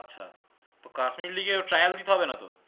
আচ্ছা তো কাশ্মীর league এর ও trial দিতে হবে না তো?